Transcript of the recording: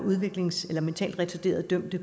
er mentalt retarderede dømte